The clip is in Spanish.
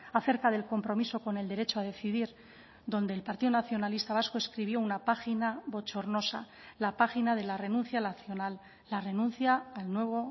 acerca del compromiso con el derecho a decidir donde el partido nacionalista vasco escribió una página bochornosa la página de la renuncia nacional la renuncia al nuevo